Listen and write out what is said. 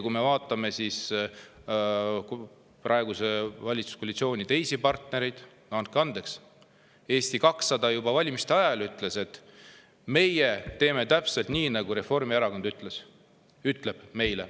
Kui me vaatame praeguse valitsuskoalitsiooni teisi partnereid, siis andke andeks, Eesti 200 ütles juba valimiste ajal, et nemad teevad täpselt nii, nagu Reformierakond neile ütleb.